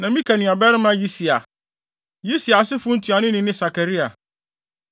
ne Mika nuabarima Yisia. Yisia asefo ntuanoni ne Sakaria.